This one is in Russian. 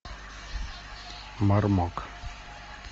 мармок